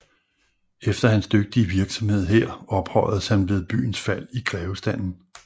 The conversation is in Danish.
Efter hans dygtige virksomhed her ophøjedes han ved byens fald i grevestanden